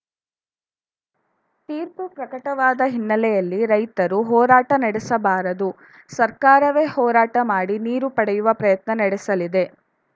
ತೀರ್ಪು ಪ್ರಕಟವಾದ ಹಿನ್ನೆಲೆಯಲ್ಲಿ ರೈತರು ಹೋರಾಟ ನಡೆಸಬಾರದು ಸರ್ಕಾರವೇ ಹೋರಾಟ ಮಾಡಿ ನೀರು ಪಡೆಯುವ ಪ್ರಯತ್ನ ನಡೆಸಲಿದೆ